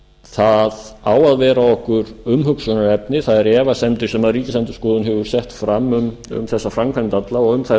það á að vera okkur umhugsunarefni þær efasemdir sem ríkisendurskoðun hefur sett fram um þessa framkvæmd alla og þær